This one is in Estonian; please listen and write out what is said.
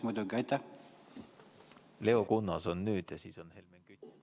Nüüd on Leo Kunnas ja siis on Helmen Kütt.